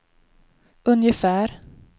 ungefär